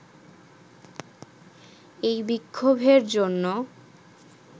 এই বিক্ষোভের জন্য